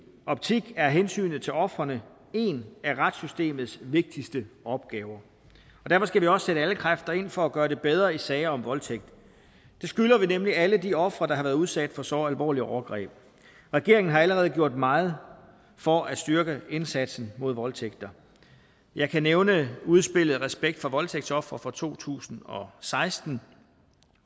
optik er hensynet til ofrene en af retssystemets vigtigste opgaver og derfor skal vi også sætte alle kræfter ind for at gøre det bedre i sager om voldtægt det skylder vi nemlig alle de ofre der har været udsat for så alvorlige overgreb regeringen har allerede gjort meget for at styrke indsatsen mod voldtægt jeg kan nævne udspillet respekt for voldtægtsofre fra to tusind og seksten